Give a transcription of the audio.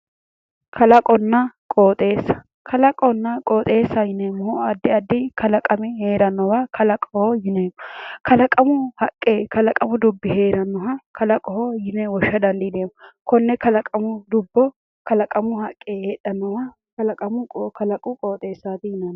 Kalaqonna qoxxeessa kalaqonna qoxxeessa yineemohu addi addi kalaqami heerannowa kalaqoho yineemo kalaqamu haqqe kalaqamu dubbi heranoha kalaqoho yine wo'sha danidiineemo Kone kalaqamu dubbo kalaqamu haqqe heedhanowa kalaqu qoxxeessaati yineemo